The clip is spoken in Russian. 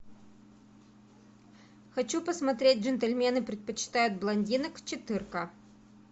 хочу посмотреть джентльмены предпочитают блондинок четырка